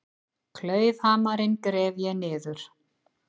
Klaufhamarinn gref ég niður.